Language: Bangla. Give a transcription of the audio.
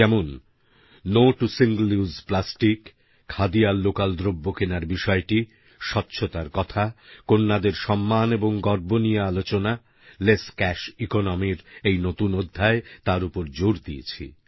যেমন no to single use plastic khadi আর লোকাল দ্রব্য কেনার বিষয়টি স্বচ্ছতার কথা কন্যাদের সম্মান এবং গর্ব নিয়ে আলোচনা লেস ক্যাশ ইকোনমি র এই নতুন অধ্যায় তার ওপর জোর দিয়েছি